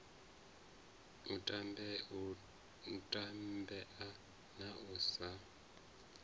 u tambea na u sa